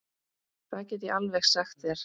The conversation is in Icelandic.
Það get ég alveg sagt þér.